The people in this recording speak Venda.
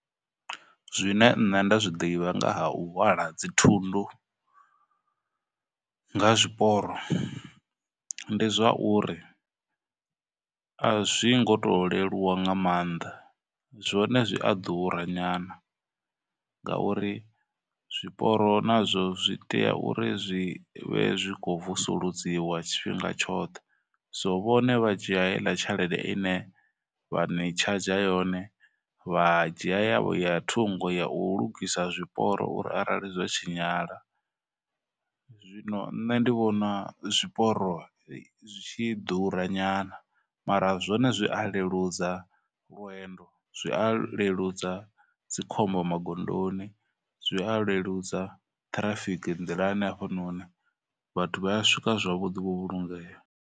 Zwine nṋe nda zwi ḓivha nga ha u hwala dzithundu nga zwiporo ndi zwa uri, a zwi ngo tou leluwa nga maanḓa. Zwone zwi a ḓura nyana ngauri zwiporo nazwo zwi tea uri zwi vhe zwi khou vusuludziwa tshifhinga tshoṱhe, so vhone vha dzhia heiḽa tshelede i ne vha ni tshadzha yone, vha dzhia yavho ya thungo ya u lugisa zwiporo uri arali zwa tshinyala. Zwino nṋe ndi vhona zwiporo zwi tshi ḓura nyana, mara zwone zwi a leludza lwendo, zwi a leludza dzikhombo magondoni, zwi a leludza traffic nḓilani hafhanoni, vhathu vha ya swika zwavhuḓi vho vhulungeya.